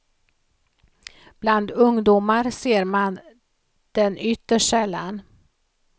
Bland ungdomar ser man den ytterst sällan.